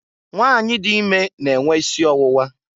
Nwanyị dị ime na enwe isi ọwụwa.